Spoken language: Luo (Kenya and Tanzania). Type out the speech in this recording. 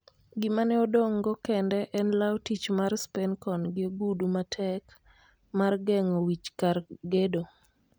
Gima ne odong'go kende en law tich mar Spencon gi ogudu matek mar geng'o wich kar gedo.